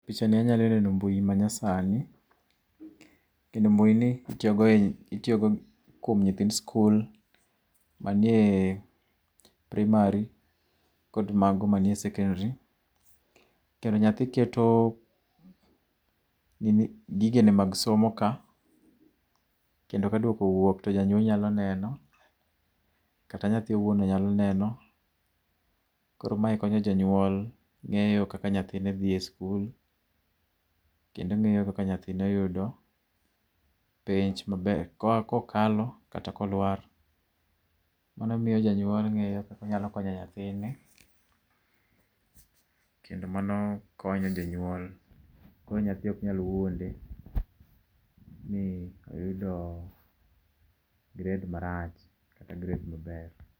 Pichani anya neno mbui manyasani kendo mbui ni itiyo go kuom nyithi skul manie primary kod manie secondary. Kendo nyathi keto gigene mag somo ka kendo ka duoko owuok to janyuol nyalo neno kata nyathino be nyalo neno. Koro mae konyo janyuol ngeyo kaka nyathine dhie skul kendo ngeyo kakak nyathine oyudo penj maber, kokalo kata kolwar. Mano miyo janyuol ngeyo kaka onyalo konyo nyathine kendo mano kony janyuol koro nyathi ok nyal wuonde ni oyudo gred marach kata gred maber